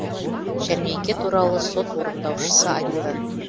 жәрмеңке туралы сот орындаушысы айтты